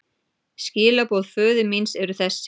Skilaboð föður míns eru þessi.